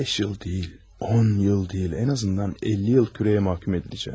Beş yıl deyil, 10 yıl deyil, ən azından 50 yıl kürəyə məhkum ediləcəm.